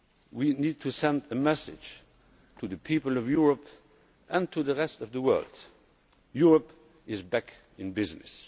We need to send a message to the people of Europe and to the rest of the world Europe is back in business.